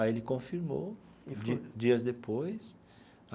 Aí ele confirmou, di dias depois.